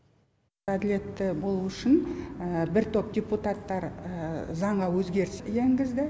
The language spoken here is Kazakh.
әділетті болуы үшін бір топ депутаттар заңға өзгерістер енгізді